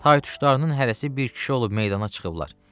Tay-tuşlarının hərəsi bir kişi olub meydana çıxıblar.